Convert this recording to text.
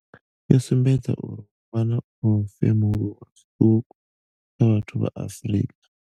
yo sumbedza uri ho vha na u femuluwa zwiṱuku kha vhathu vha Afrika.